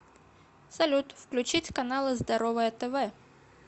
салют включить каналы здоровое тв